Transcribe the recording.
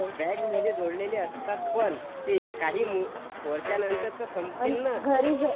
बँकमध्ये जोडलेले असतात पण ते काही वर्षांनंतर तर संपतील नं